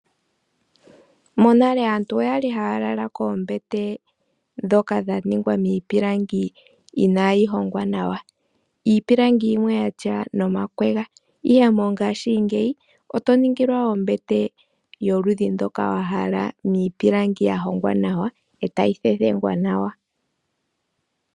Monale aantu oya li haya lala koombete ndhoka dha ningwa miipilangi inaayi hongwa nawa. Iipilangi yimwe yatya nomakwega. Ihe mongaashingeyi oto ningilwa ombete yoludhi ndoka wa hala niipilangi ya hongwa nawa, e tayi thethengwa nawa.